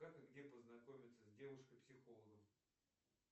как и где познакомиться с девушкой психологом